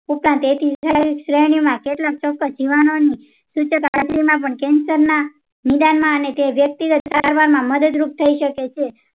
ઉપરાંત શ્રેણી માં કેટલોક પણ cancer ન નિવારણ માં અને વ્યક્તિને સારવારમાં મદદ રૂપ થઇ શકે છે